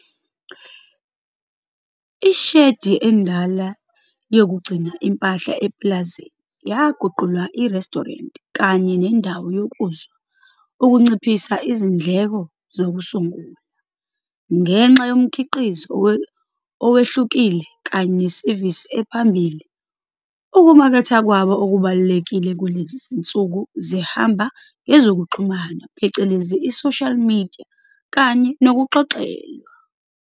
Ishedi endala yokugcina impahla epulazini yaguqulwa irestorenti kanye nendawo yokuzwa ukunciphisa izindleko zokusungula. Ngenxa yomkhiqizo owehlukile kanye nesevisi ephambili, ukumaketha kwabo okubalulekile kulezi zinsuku zihamba ngezokuxhumana phecelezi i-social media kanye nokuxoxelwa.